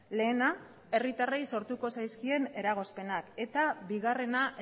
lehena herritarrei sortuko zaizkien eragozpenak eta bigarrena